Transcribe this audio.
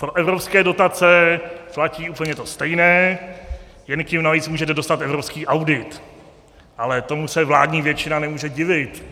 Pro evropské dotace platí úplně to stejné, jen k nim navíc můžete dostat evropský audit, ale tomu se vládní většina nemůže divit.